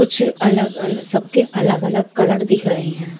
कुछ अलग-अलग सबके अलग-अलग कलर दिख रहे हैं।